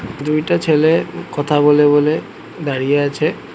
দুইটা ছেলে কথা বলবে বলে দাঁড়িয়ে আছে।